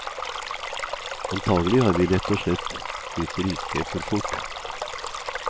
Antagelig har vi rett og slett blitt rike for fort.